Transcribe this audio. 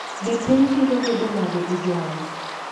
Be piny biro bedo nade e jumano?